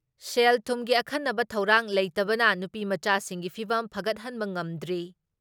ꯁꯦꯜ ꯊꯨꯝꯒꯤ ꯑꯈꯟꯅꯕ ꯊꯧꯔꯥꯡ ꯂꯩꯇꯕꯅ ꯅꯨꯄꯤꯃꯆꯥꯁꯤꯡꯒꯤ ꯐꯤꯚꯝ ꯐꯒꯠꯍꯟꯕ ꯉꯝꯗ꯭ꯔꯤ ꯫